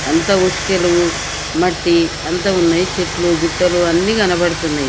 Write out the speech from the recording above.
అంత ఉసుకలు మట్టి అంత ఉన్నాయి చెట్లు గుట్టలు అన్ని కనబడుతున్నాయి.